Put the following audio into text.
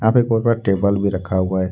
यहां पे एक बहुत बड़ा टेबल भी रखा हुआ है।